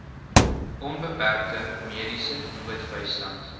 onbeperkte mediese noodbystand